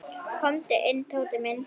Komdu inn, Tóti minn.